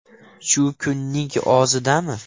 Shu kunning o‘zidami?